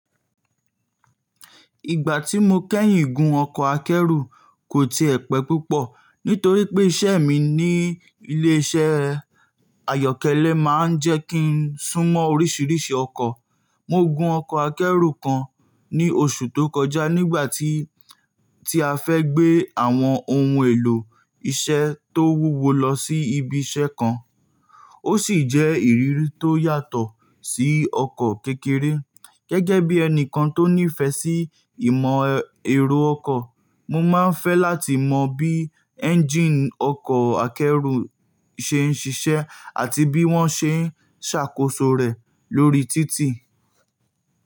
Ìgbà tí mo kẹ́yìn gun ọkọ̀ akẹ́rù kò ti ẹ̀ pẹ̀ púpọ̀ nítorí pé iṣẹ́ mi ní ilé-iṣẹ́ àyọ́kẹ́lẹ́ máa ń jẹ́ kí n sún mọ́ oríṣiríṣi ọkọ̀. Mo gun ọkọ̀ akẹ́rù kan ní oṣù tó kọjá nígbà tí a fẹ́ gbé àwọn ohun èlò iṣẹ́ tó wúwo lọ sí ibi iṣẹ́ kan. Ó sì jẹ́ ìrírí tó yàtọ̀ sí ọkọ̀ kékeré. Gẹ́gẹ́ bí ẹni kan tó ní ìfẹ́ sí ìmọ̀ ẹ̀rọ ọkọ̀, mo máa ń fẹ́ láti mọ bí ẹ́ńjíìnì ọkọ̀ akẹ́rù ṣe ń ṣiṣẹ́ àti bí wọ́n ṣe ń ṣàkóso rẹ̀ lórí títì.